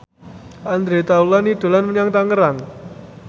Andre Taulany dolan menyang Tangerang